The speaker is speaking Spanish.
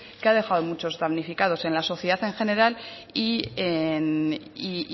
muchos damnificados en la sociedad en general y